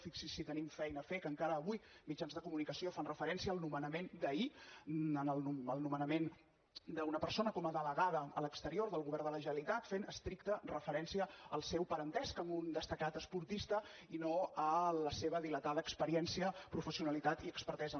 fixi’s si tenim feina a fer que encara avui mitjans de comunicació fan referència al nomenament d’ahir al nomenament d’una persona com a delegada a l’exterior del govern de la generalitat fent estricta referència al seu parentesc amb un destacat esportista i no a la seva dilatada experiència professionalitat i expertesa